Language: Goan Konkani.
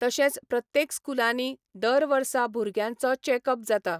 तशेंच प्रत्येक स्कुलांनी दर वर्सा भुरग्यांचो चेकअप जाता.